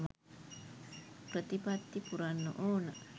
ප්‍රතිපත්ති පුරන්න ඕන.